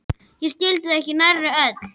Ég skildi þau ekki nærri öll.